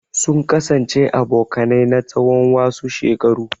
Sun kasance abokanai na tsawon wasu shekaru.